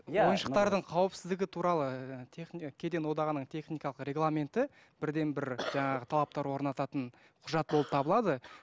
иә ойыншықтардың қауіпсіздігі туралы кеден одағыныың техникалық регламенті бірден бір жаңағы талаптар орнататын құжат болып табылады